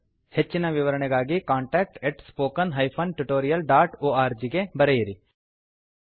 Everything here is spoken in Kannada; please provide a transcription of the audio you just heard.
ಹೆಚ್ಚನ ವಿವರಣೆಗಾಗಿ contactspoken tutorialorg ಗೆ ಬರೆಯಿರಿ